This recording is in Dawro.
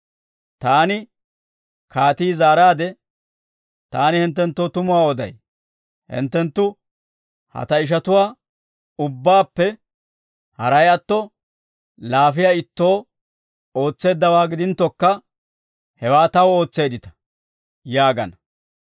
Taani kaatii zaaraade, ‹Taani hinttenttoo tumuwaa oday; hinttenttu ha ta ishatuwaa ubbaappe haray atto, laafiyaa ittoo ootseeddawaa gidinttokka, hewaa taw ootseeddita› yaagana.